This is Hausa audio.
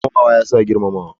Girmamawa ya sa ka girma.